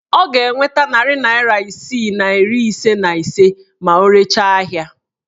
Ọ ga-enweta narị naịra isii na iri ise na ise ma o rechaa ahịa